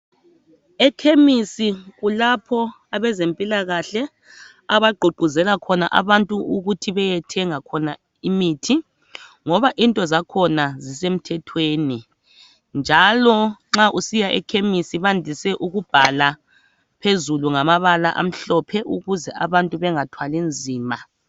Ekhemesi kulapho abazemphilakahle abaguquzela khona abantu ukuthi bayethenga khona imithi. Ngoba into zakhona zisemthetgweni, njalo nxa usiya ekhemesi bayandise ukubhala ephepheni ngamabala amhlophe ukuze abantu bengathwali nzima.